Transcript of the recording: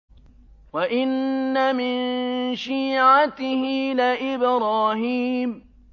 ۞ وَإِنَّ مِن شِيعَتِهِ لَإِبْرَاهِيمَ